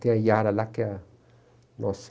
Tem a Yara lá, que é a nossa...